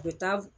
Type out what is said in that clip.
U bɛ taa